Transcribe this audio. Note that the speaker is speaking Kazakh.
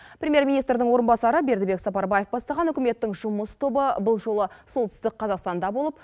премьер министрдің орынбасары бердібек сапарбаев бастаған үкіметтің жұмыс тобы бұл жолы солтүстік қазақстанда болып